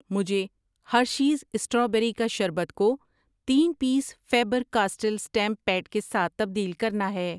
مجھے Hershey's strawberry کا شربت کو تین piece Faber Castell stamp pad کے ساتھ تبدیل کرنا ہے۔